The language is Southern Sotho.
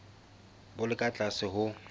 bo le ka tlase ho